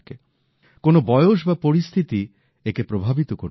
কোনো বয়স বা পরিস্থিতি একে প্রভাবিত করতে পারে না